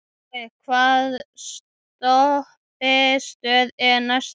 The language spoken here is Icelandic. Tói, hvaða stoppistöð er næst mér?